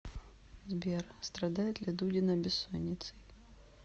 сбер страдает ли дудина бессонницей